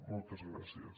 moltes gràcies